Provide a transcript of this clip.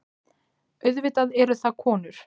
Auðvitað eru það konur.